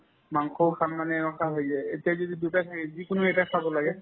মাংসও খাম মানে এনেকুৱা লাগে এতিয়া যদি দুটা থাকে যিকোনো এটায়ে খাব লাগে